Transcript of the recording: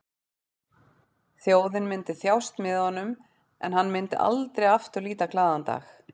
Þjóðin myndi þjást með honum en hann myndi aldrei aftur líta glaðan dag.